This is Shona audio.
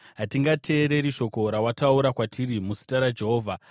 “Hatingateereri shoko rawataura kwatiri muzita raJehovha!